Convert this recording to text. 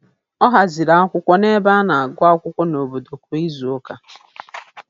Ọ haziri akwụkwọ n'ebe a na-agụ akwụkwọ n'obodo kwa izuụka.